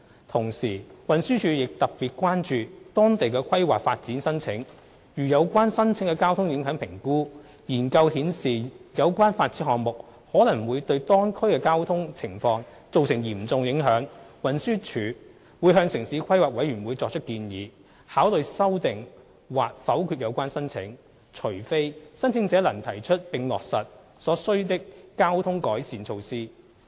同時，運輸署亦特別關注當地的規劃發展申請，如有關申請的交通影響評估研究顯示有關發展項目可能會對當區的交通情況造成嚴重影響，運輸署會向城市規劃委員會作出建議，考慮修訂或否決有關申請，除非申請者能提出並落實所需的交通改善措施。